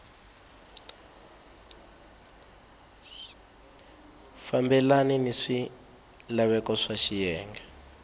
fambelani ni swilaveko swa xiyenge